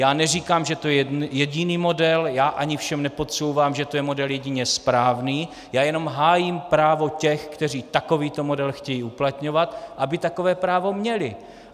Já neříkám, že to je jediný model, já ani všem nepodsouvám, že to je model jedině správný, já jenom hájím právo těch, kteří takovýto model chtějí uplatňovat, aby takové právo měli.